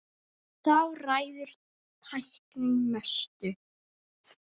Þar ræður tæknin mestu.